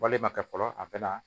Wale ma kɛ fɔlɔ a bɛ na